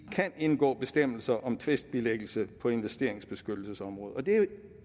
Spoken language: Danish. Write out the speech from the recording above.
kan indgå bestemmelser om tvistbilæggelse på investeringsbeskyttelsesområdet og det er jo